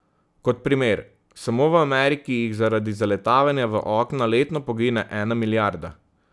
Kot primer, samo v Ameriki jih zaradi zaletavanja v okna letno pogine ena milijarda.